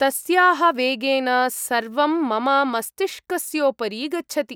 तस्याः वेगेन सर्वं मम मस्तिष्कस्योपरि गच्छति।